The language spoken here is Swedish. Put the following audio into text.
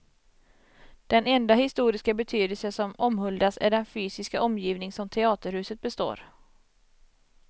Den enda historiska betydelse som omhuldas är den fysiska omgivning som teaterhuset består.